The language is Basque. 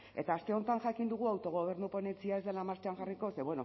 eta aste honetan jakin dugu autogobernu ponentzia ez dela martxan jarriko